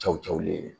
Cɛw cɛw ye